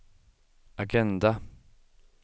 agenda